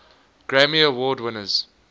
grammy award winners